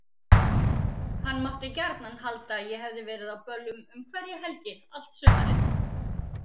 Hann mátti gjarnan halda að ég hefði verið á böllum um hverja helgi allt sumarið.